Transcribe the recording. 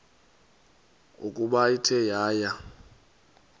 ukuba ithe yaya